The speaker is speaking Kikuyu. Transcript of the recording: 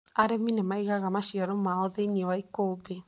Arĩmi nĩ maigaga maciaro mao thĩinĩ wa ĩkũmbĩ.